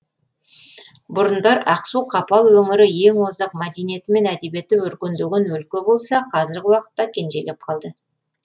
бұрындар ақсу қапал өңірі ең озық мәдениеті мен әдебиеті өркендеген өлке болса қазіргі уақытта кенжелеп қалды